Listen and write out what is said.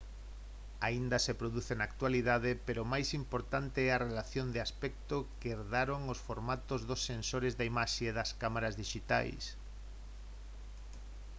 aínda se produce na actualidade pero máis importante é a relación de aspecto que herdaron os formatos dos sensores de imaxe das cámara dixitais